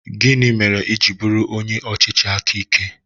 Gịnị mere i ji bụrụ onye ọchịchị aka ike?